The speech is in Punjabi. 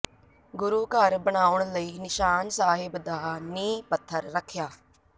ਗੁਰੂ ਘਰ ਬਣਾਉਣ ਲਈ ਨਿਸ਼ਾਨ ਸਾਹਿਬ ਦਾ ਨੀਂਹ ਪੱਥਰ ਰੱਖਿਆ